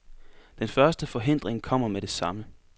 Den første forhindring kommer med det samme.